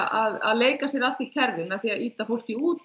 að leika sér að því kerfi með því að ýta fólki út